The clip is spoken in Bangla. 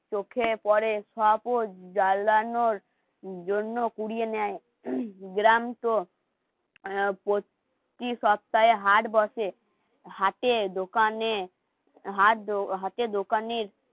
চোখে পড়ে সব জ্বালানোর জন্য পুড়িয়ে নেয় গ্রাম প্রতি সপ্তাহে হাট বসে হাটে, দোকানে হাতে দোকানের